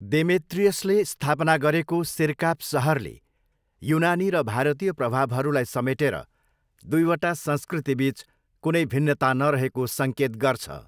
देमेत्रियसले स्थापना गरेको सिर्काप सहरले युनानी र भारतीय प्रभावहरूलाई समेटेर दुईवटा संस्कृतिबिच कुनै भिन्नता नरहेको सङ्केत गर्छ।